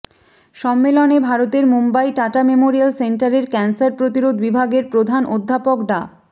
সম্মেলনে ভারতের মুম্বাই টাটা মেমোরিয়াল সেন্টারের ক্যানসার প্রতিরোধ বিভাগের প্রধান অধ্যাপক ডা